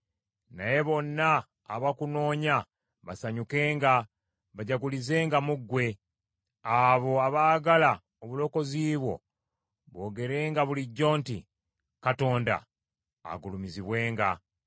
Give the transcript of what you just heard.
Naye bonna abakunoonya basanyukenga bajagulizenga mu ggwe. Abo abaagala obulokozi bwo boogerenga bulijjo nti, “Katonda agulumizibwenga!”